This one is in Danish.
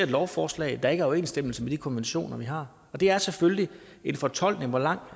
lovforslag der ikke overensstemmelse med de konventioner vi har og det er selvfølgelig en fortolkning hvor langt